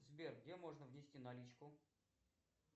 сбер где можно внести наличку